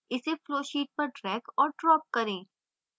इसे flowsheet पर drag और drop करें